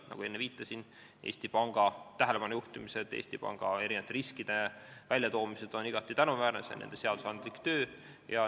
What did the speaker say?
Nagu ma enne viitasin, Eesti Panga tähelepanu juhtimised ja riskide väljatoomised on igati tänuväärne, see on nende töö.